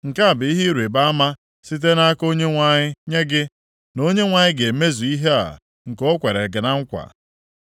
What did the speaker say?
“ ‘Nke a bụ ihe ịrịbama site nʼaka Onyenwe anyị nye gị, na Onyenwe anyị ga-emezu ihe a nke o kwere na nkwa.